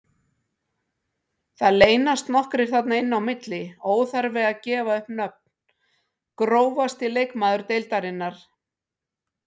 Það leynast nokkrir þarna inn á milli, óþarfi að gefa upp nöfn Grófasti leikmaður deildarinnar?